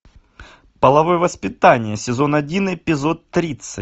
половое воспитание сезон один эпизод тридцать